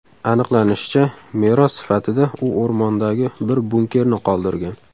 Aniqlanishicha, meros sifatida u o‘rmondagi bir bunkerni qoldirgan.